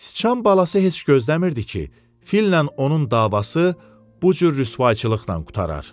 Sıçan balası heç gözləmirdi ki, fillə onun davası bu cür rüsvayçılıqla qurtarar.